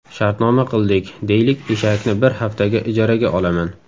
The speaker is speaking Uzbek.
Shartnoma qildik, deylik, eshakni bir haftaga ijaraga olaman.